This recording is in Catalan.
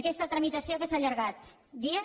aquesta tramitació què s’ha allargat dies